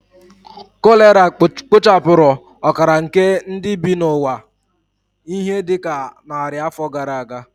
Kolera kpochapụrụ ọkara nke ndị bi n'ụwa ihe dị ka narị afọ gara aga